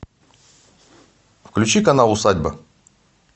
включи канал усадьба